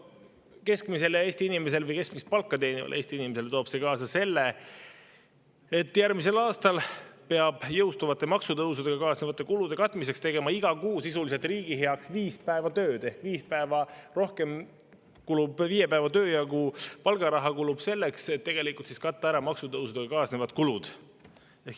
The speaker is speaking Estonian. Keskmisele Eesti inimesele või keskmist palka teenivale Eesti inimesele toob see kaasa selle, et järgmisel aastal peab jõustuvate maksutõusudega kaasnevate kulude katmiseks tegema iga kuu viis päeva sisuliselt riigi heaks tööd ehk viie päeva töö palgaraha kulub selleks, et katta ära maksutõusudega kaasnevad kulud.